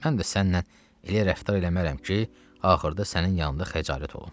Mən də sənlə elə rəftar eləmərəm ki, axırda sənin yanında xəcalət olum.